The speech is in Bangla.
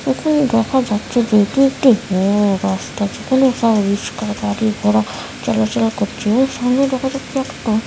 এখানে দেখা যাচ্ছে যে এটি একটি রাস্তা যেখানে রিক্সা গাড়ি ঘড়া চলাচল করছে এবং সামনে দেখা যাচ্ছে একটা--